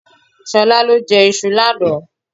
Ṣolá lọ jẹ iṣu lánàá.